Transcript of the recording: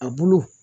A bolo